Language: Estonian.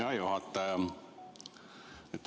Hea juhataja!